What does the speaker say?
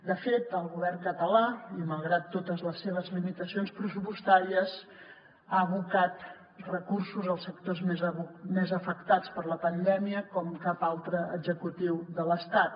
de fet el govern català i malgrat totes les seves limitacions pressupostàries ha abocat recursos als sectors més afectats per la pandèmia com cap altre executiu de l’estat